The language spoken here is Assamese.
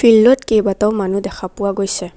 ফিল্ড ত কেইবাটাও মানুহ দেখা পোৱা গৈছে।